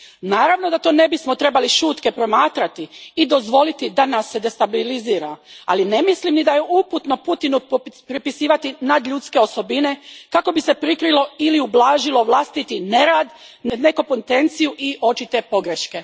Naravno da to ne bismo trebali šutke promatrati i dozvoliti da nas se destabilizira, ali ne mislim ni da je uputno Putinu pripisivati nadljudske osobine kako bi se prikrilo ili ublažilo vlastiti nerad, nekompetenciju i očite pogreške.